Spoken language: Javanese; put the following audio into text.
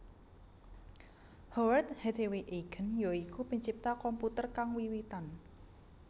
Howard Hathaway Aiken ya iku pencipta komputer kang wiwitan